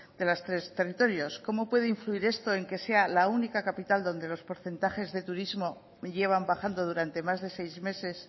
de los tres territorios cómo puede influir esto en que sea la única capital donde los porcentajes de turismo llevan bajando durante más de seis meses